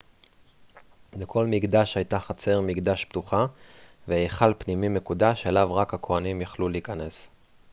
לכל מקדש הייתה חצר מקדש פתוחה והיכל פנימי מקודש אליו רק הכוהנים יכלו להיכנס